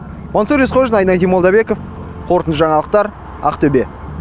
мансұр есқожин айнадин молдабеков қорытынды жаңалықтар ақтөбе